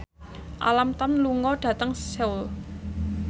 Alam Tam lunga dhateng Seoul